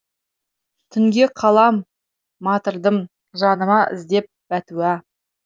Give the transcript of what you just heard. түнге қалам матырдым жаныма іздеп бәтуә